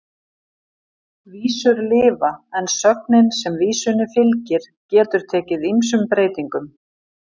Vísur lifa en sögnin sem vísunni fylgir getur tekið ýmsum breytingum.